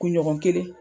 Kunɲɔgɔn kelen